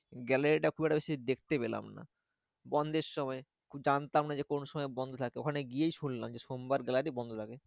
Gallery টা খুব একটা বেশি দেখতে পেলাম না। বন্ধের সময় জানতাম না যে কোনো সময় বন্ধ থাকে। ওখানে গিয়েই শুনলাম যে সোমবার gallery বন্ধ থাকে।